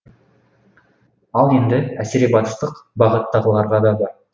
ал енді әсіребатыстық бағыттағылары да бар